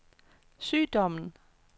sygdommen